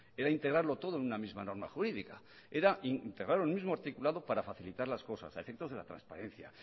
era integrarlo todo en una misma norma jurídica era integrarlo en un mismo articulado para facilitar las cosas a efectos de la transparencia